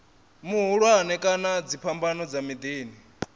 mahulwane kana dziphambano dza miḓini